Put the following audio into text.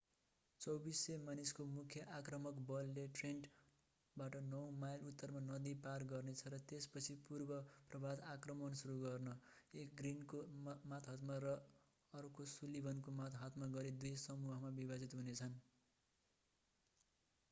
2400 मानिसको मुख्य आक्रमक बलले ट्रेन्टनबाट नौ माइल उत्तरमा नदी पार गर्नेछ र त्यसपछि पूर्व-प्रभात आक्रमण सुरु गर्न एक ग्रिनको मातहतमा र अर्को सुलिभनको मातहतमा गरी दुई समूहमा विभाजित हुनेछन्